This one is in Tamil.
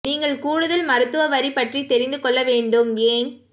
நீங்கள் கூடுதல் மருத்துவ வரி பற்றி தெரிந்து கொள்ள வேண்டும் ஏன்